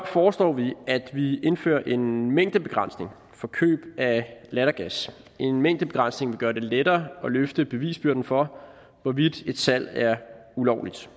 foreslår vi at vi indfører en mængdebegrænsning for køb af lattergas en mængdebegrænsning vil gøre det lettere at løfte bevisbyrden for hvorvidt et salg er ulovligt